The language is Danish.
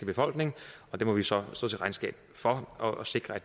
befolkning og det må vi så stå til regnskab for og sikre at